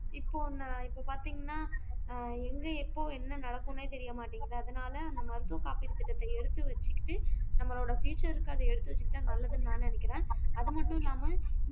இப்போ இப்ப பாத்தீங்கன்னா ஆஹ் எங்க எப்போ என்ன நடக்குன்னே தெரிய மாட்டேங்குது அதனால மருத்துவ காப்பீடு திட்டத்தை எடுத்து வச்சுக்கிட்டு நம்மளோட future க்கு அத எடுத்து வச்சுக்கிட்டா நல்லதுன்னு நான் நினைக்கிறேன் அது மட்டும் இல்லாம